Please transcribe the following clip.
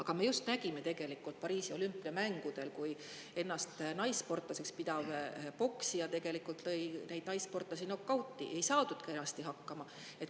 Pariisi olümpiamängudel me ju nägime, kuidas ennast naissportlaseks pidav poksija teisi naissportlasi nokauti lõi – ei saadud kenasti hakkama.